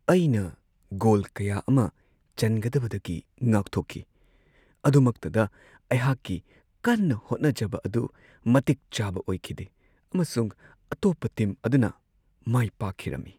ꯑꯩꯅ ꯒꯣꯜ ꯀꯌꯥ ꯑꯃ ꯆꯟꯒꯗꯕꯗꯒꯤ ꯉꯥꯛꯊꯣꯛꯈꯤ ꯑꯗꯨꯃꯛꯇꯗ, ꯑꯩꯍꯥꯛꯀꯤ ꯀꯟꯅ ꯍꯣꯠꯅꯖꯕ ꯑꯗꯨ ꯃꯇꯤꯛ ꯆꯥꯕ ꯑꯣꯏꯈꯤꯗꯦ ꯑꯃꯁꯨꯡ ꯑꯇꯣꯞꯄ ꯇꯤꯝ ꯑꯗꯨꯅ ꯃꯥꯏꯄꯥꯛꯈꯤꯔꯝꯃꯤ ꯫